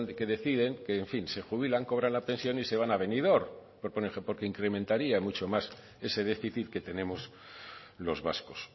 que deciden en fin se jubilan cobran la pensión y se van a benidorm porque incrementaría mucho más ese déficit que tenemos los vascos